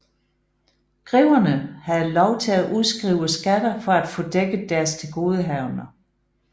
Greverne havde lov til at udskrive skatter for at få dækket deres tilgodehavender